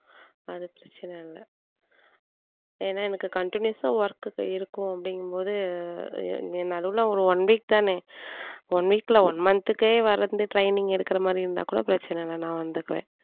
அது பிரச்சனை இல்லை ஏன்னா எனக்கு continues ஆ work இருக்கும் அப்படிங்கும்போது நடுவுல ஒரு one week தானே one week ல one month க்கே வர்றது training எடுக்கிற மாதிரி இருந்தால் கூட பிரச்சனை இல்லை நான் வந்துக்குவேன்